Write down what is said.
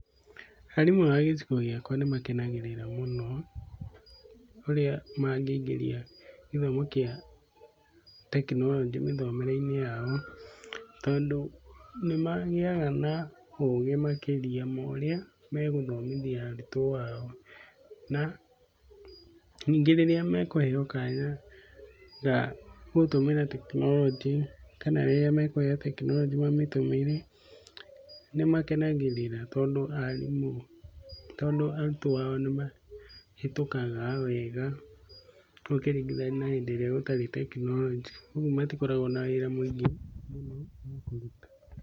Arimũ a gĩcigo gĩakwa nĩ makenagĩrĩra mũno, ũrĩa mangĩingĩria gĩthomo gĩa tekinoronjĩ mĩthomere-inĩ yao. Tondũ nĩ magĩaga na ũgĩ makĩria ma ũrĩa megũthomithia arutwo ao. Na ningĩ rĩrĩa mekũheo kanya ga gũtũmĩra tekinoronjĩ, kana rĩrĩa mekũheo tekinoronjĩ mamĩtũmĩre nĩ makenagĩrĩra tondũ arimũ, tondũ arutwo ao nĩ mahĩtũkaga wega, ũkĩringithania na hĩndĩ ĩrĩa gũtarĩ tekinoronjĩ. Ũguo matikoragwo na wĩra mũingĩ mũno wa kũruta.